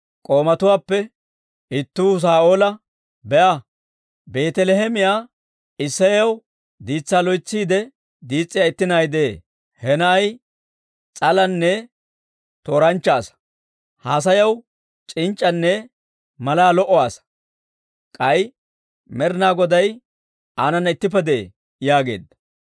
K'oomatuwaappe ittuu Saa'oola, «Be'a; Beetaliheemiyaa Isseyaw diitsaa loytsiide diis's'iyaa itti na'ay de'ee. He na'ay s'alanne tooranchcha asaa; haasayaw c'inc'c'anne malaa lo"a asaa; k'ay Med'inaa Goday aanana ittippe de'ee» yaageedda.